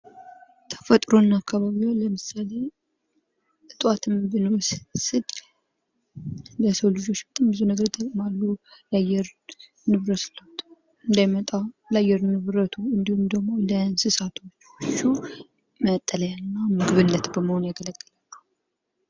ተፈጥሮና አካባቢዋ ለምሳሌ እጽዋትን ብንወስድ ለሰው ልጆች በጣም ብዙ ነገሮች ይጠቅማሉ። የአየር ንብረት ለውጥ እንዳይመጣ ለአየር ንብረቱ እንዲሁም ደሞ ለእንስሳቶቹ መጠለያነትና ለምግብነት በመሆን ያገለግላሉ።